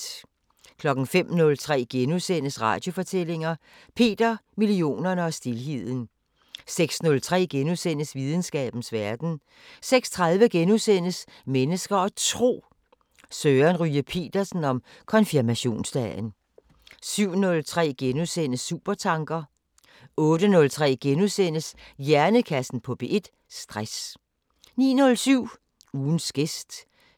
05:03: Radiofortællinger: Peter, millionerne og stilheden * 06:03: Videnskabens Verden * 06:30: Mennesker og Tro: Søren Ryge Petersen om konfirmationsdagen * 07:03: Supertanker * 08:03: Hjernekassen på P1: Stress * 09:07: Ugens gæst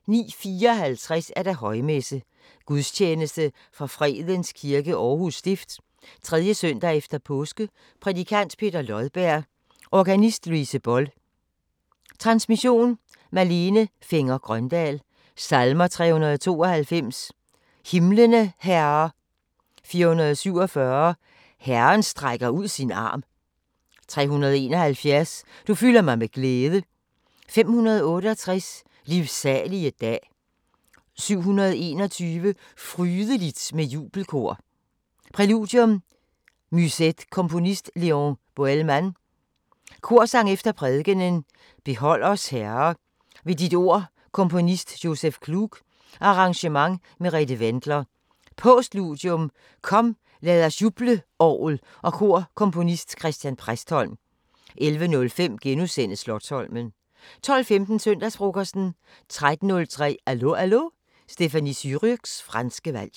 09:54: Højmesse - Gudstjeneste fra Fredens Kirke, Aarhus Stift. 3. søndag efter påske Prædikant: Peter Lodberg. Organist: Louise Boll. Transmission: Malene Fenger-Grøndahl. Salmer: 392: "Himlene Herre" 447: "Herren strækker ud sin arm" 371: "Du fylder mig med glæde" 568: "Livsalige dag" 721: "Frydeligt med jubelkor" Præludium: Musette Komponist: Léon Boëlmann. Korsang efter prædikenen: Behold os Herre, ved dit Ord Komponist Joseph Klug. Arrangement: Merete Wendler. Postludium: Kom, lad os juble Orgel og kor Komponist: Christian Præstholm. 11:05: Slotsholmen * 12:15: Søndagsfrokosten 13:03: Allo Allo – Stéphanie Surrugues franske valg